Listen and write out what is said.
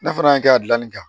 Ne fana y'a kɛ a dilanni kan